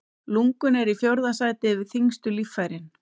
Lungun eru í fjórða sæti yfir þyngstu líffærin.